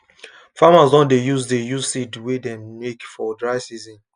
farmers don dey use dey use seed wey dem make for dry season